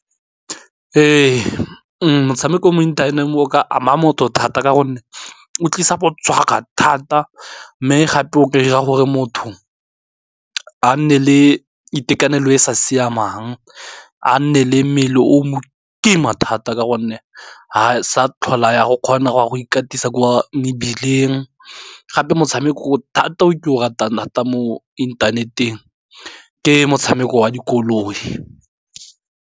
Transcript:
Ee, motshameko mo internet-eng o ka ama motho thata, ka gonne o tlisa go tshwaga thata mme gape o ka dira gore motho a nne le itekanelo e sa siamang, a nne le mmele o mo kima thata, ka gonne ha sa tlhola ya go kgona go wa go ikatisa ko mebileng gape motshameko thata o ke o ratang thata mo inthaneteng, ke motshameko wa dikoloi.